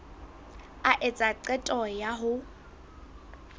a etsa qeto ya ho